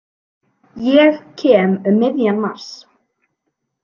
Ég kem um miðjan mars.